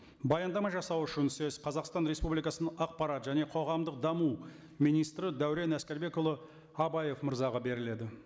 баяндама жасау үшін сөз қазақстан республикасының ақпарат және қоғамдық даму министрі дәурен әскербекұлы абаев мырзаға беріледі